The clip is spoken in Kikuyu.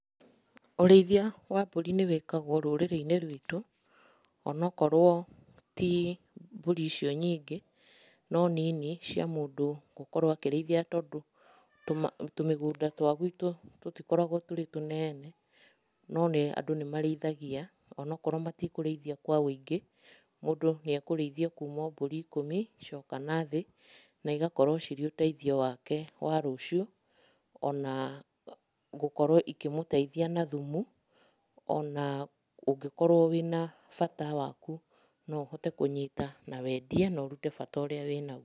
Ũrĩithia wa mbũri nĩ wĩkagwo rũrĩrĩ-inĩ rwitũ, ona akorwo ti mbũri icio nyingĩ, no nini cia mũndu gũkorwo akĩrĩithia tondũ tũmĩgũnda twa gwitũ tũtikoragwo tũrĩ tunene, no andũ nĩ marĩithagia ona akorwo matikũrĩithia kwa ũingĩ, mũndũ ni ekũrĩithia kuma mbũri ikũmi gũcoka na thĩna igakorwo cirĩ uteithio wake wa rũciũ ona gũkorwo ikĩmũteithia na thumu, ona ũngĩkorwo wĩna bata waku, no ũhote kũnyita na wendie ũrute bata ũrĩa wĩnaguo.